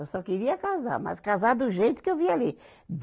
Eu só queria casar, mas casar do jeito que eu via ali.